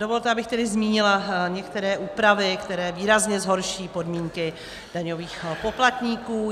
Dovolte, abych tedy zmínila některé úpravy, které výrazně zhorší podmínky daňových poplatníků.